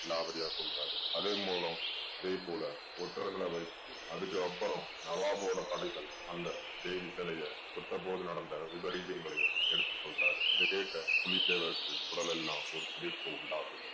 விலாவரியா சொல்றாரு. அதன் மூலம் அதே போல ஒற்றர்களை வைத்து அதுக்கப்புறம் நவாபோட படைகள் அந்த தேவி சிலையைத் தொட்ட போது நடந்த விபரீதங்களையும் எடுத்து சொல்றாரு. இதைக் கேட்ட புலித்தேவருக்கு உடலெல்லாம் ஒரு சிலிர்ப்ப உண்டாக்குது.